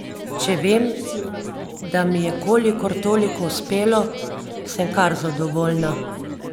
Če vem, da mi je kolikor toliko uspelo, sem kar zadovoljna.